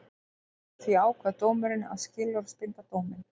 Því ákvað dómurinn að skilorðsbinda dóminn